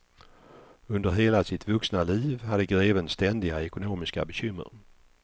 Under hela sitt vuxna liv hade greven ständiga ekonomiska bekymmer.